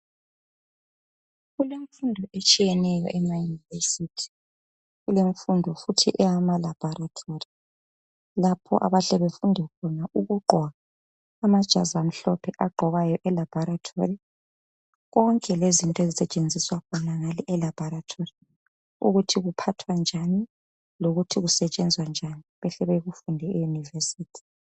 Kulemfundo etshiyeneyo emayunivesithi. Kulemfundo futhi eyama laboratory lapho abahle befunde khona ukugqoka amajazi amhlophe agqokwayo e laboratory konke lezinto ezisetshenziswa khonangale elaboratory ukuthi kuphathwa njani lokuthi kusetshenzwa njani behle bekufunde eyunivesithi